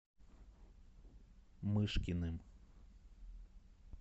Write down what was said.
мышкиным